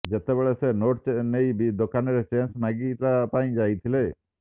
ଯେତେବେଳେ ସେ ନୋଟ ନେଇ ଦୋକାନରେ ଚେଞ୍ଜ ମାଗିବା ପାଇଁ ଯାଇଥିଲେ